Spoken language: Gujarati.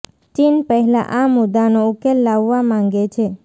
ચીન પહેલા આ મુદાનો ઉકેલ લાવવા માગે છે